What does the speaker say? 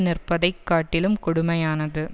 நிற்பதைக் காட்டிலும் கொடுமையானது